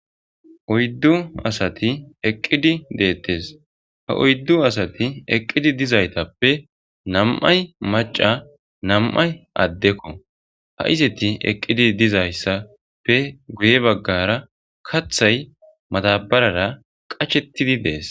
oyddu asati eqqidi deettes ha oyddu asati eqqidi dizaytappe nam7ay maca nam7ay addekko ha izeti eqqidi dizayssappe guye baggara kathay matabarara qachettidi dees